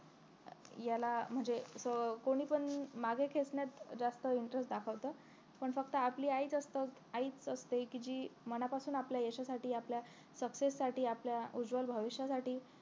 याला म्हणजे असं कोणीपण मागे खेचण्यात जास्त interest दाखवत पण फक्त आपली आईच असत आईच असते कि जी मनापासून आपल्या यशासाठी आपल्या success आपल्या उज्वल भविष्यासाठी